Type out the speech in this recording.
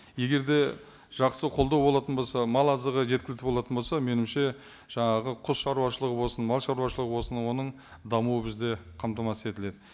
егер де жақсы қолдау болатын болса мал азығы жеткілікті болатын болса меніңше жаңағы құс шаруашылығы болсын мал шаруашылығы болсын оның дамуы бізде қамтамасыз етіледі